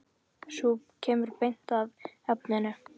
Sú kemur beint að efninu!